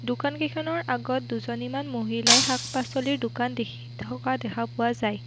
দোকান কেইখনৰ আগত দুজনীমান মহিলাই শাক পাছলিৰ দোকান দেখি থকা দেখা পোৱা যায়।